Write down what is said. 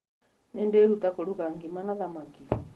Nĩndĩruta kũruga ngima na thamaki